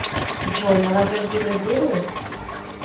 джой молодежь деградирует